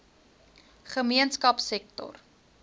gemeenskapsektor